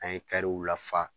An ye lafa